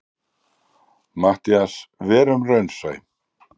MATTHÍAS: Verum raunsæ.